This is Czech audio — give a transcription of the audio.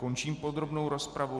Končím podrobnou rozpravu.